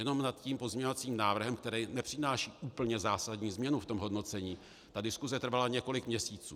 Jenom nad tím pozměňovacím návrhem, který nepřináší úplně zásadní změnu v tom hodnocení, ta diskuse trvala několik měsíců.